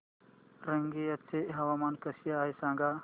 रंगिया चे हवामान कसे आहे सांगा